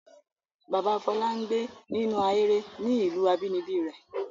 Bàbá Fọlá ń gbé nínú ahéré ní ìlú abínibí rẹ̀.